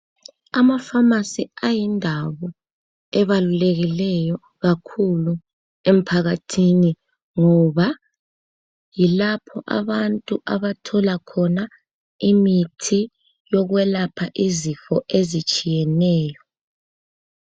Amafamasi ayindawo ebalulekileyo kakhulu emphakathini ngoba yilapho abantu abathola khona imithi yokwelapha izifo ezitshiyeneyo.